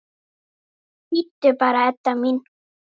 Bíddu bara, Edda mín.